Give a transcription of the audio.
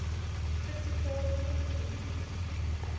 critical thinking